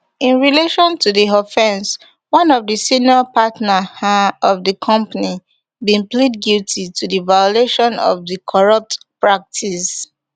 in relation to di offence one of di senior partner um of di company bin plead guilty to di violation of di corrupt practice